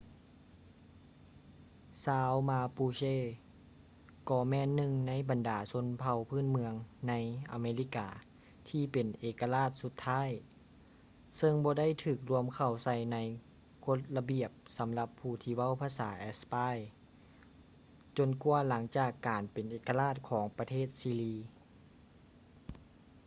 ຊາວມາປູເຊ mapuche ກໍແມ່ນໜຶ່ງໃນບັນດາຊົນເຜົ່າພື້ນເມືອງໃນ ອາເມລິກາ ທີ່ເປັນເອກະລາດສຸດທ້າຍ ຊຶ່ງບໍ່ໄດ້ຖືກລວມເຂົ້າໃສ່ໃນກົດລະບຽບສຳລັບຜູ້ທີ່ເວົ້າພາສາແອັດສະປາຍ ຈົນກວ່າຫຼັງຈາກການເປັນເອກະລາດຂອງປະເທດຊີລີ